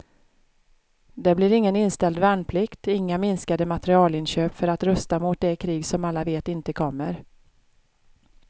Det blir ingen inställd värnplikt, inga minskade materielinköp för att rusta mot det krig som alla vet inte kommer.